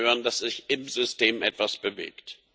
Sie wollen hören, dass sich im System etwas bewegt.